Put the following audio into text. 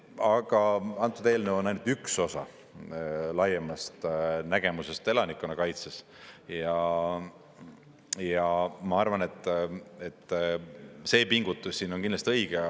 Aga antud eelnõu on ainult üks osa laiemast nägemusest elanikkonnakaitses ja ma arvan, et see pingutus on kindlasti õige.